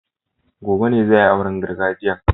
Gobe ne za a yi auren gargajiyan